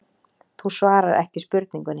Þú svarar ekki spurningunni.